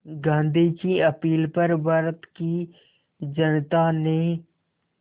गांधी की अपील पर भारत की जनता ने